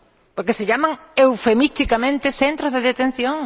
Porque se les llama eufemísticamente centros de detención.